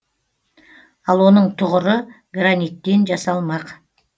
ал оның тұғыры граниттен жасалмақ